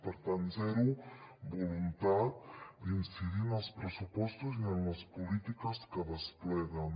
per tant zero voluntat d’incidir en els pressupostos i en les polítiques que despleguen